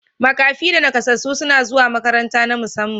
Makafi da nakasassu suna zuwa makarantu na musamman.